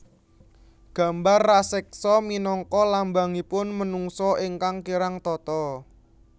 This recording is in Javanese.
Gambar raseksa minangka lambangipun menungsa ingkang kirang tata